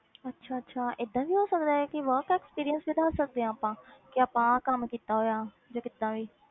ਅੱਛਾ ਅੱਛਾ ਏਦਾਂ ਵੀ ਹੋ ਸਕਦਾ ਹੈ ਕਿ work experience ਵਧਾ ਸਕਦੇ ਹਾਂ ਆਪਾਂ ਕਿ ਆਪਾਂ ਆਹ ਕੰਮ ਕੀਤਾ ਹੋਇਆ ਜਾਂ ਕਿੱਦਾਂ ਵੀ।